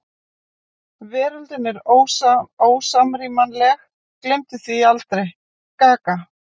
Veröldin er ósamrýmanleg, gleymdu því aldrei: gaga.